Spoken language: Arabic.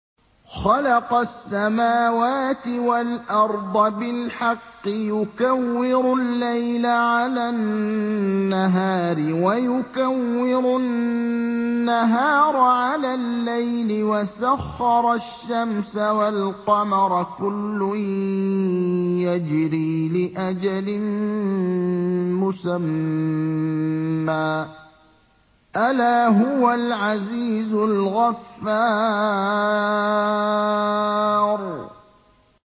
خَلَقَ السَّمَاوَاتِ وَالْأَرْضَ بِالْحَقِّ ۖ يُكَوِّرُ اللَّيْلَ عَلَى النَّهَارِ وَيُكَوِّرُ النَّهَارَ عَلَى اللَّيْلِ ۖ وَسَخَّرَ الشَّمْسَ وَالْقَمَرَ ۖ كُلٌّ يَجْرِي لِأَجَلٍ مُّسَمًّى ۗ أَلَا هُوَ الْعَزِيزُ الْغَفَّارُ